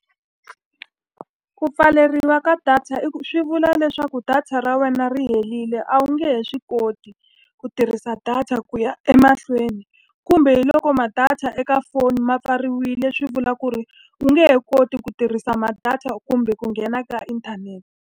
Ku pfaleriwa ka data swi vula leswaku data ra wena ri helile a wu nge he swi koti ku tirhisa data ku ya emahlweni. Kumbe hi loko ma-data eka foni ma pfariwile swi vula ku ri u nge he koti ku tirhisa ma data kumbe ku nghena ka inthanete.